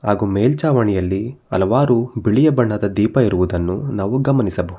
ಹಾಗು ಮೇಲ್ಚಾವಣಿಯಲ್ಲಿ ಹಲವಾರು ಬಿಳಿಯ ಬಣ್ಣದ ದೀಪ ಇರುವುದನ್ನು ನಾವು ಗಮನಿಸಬಹು--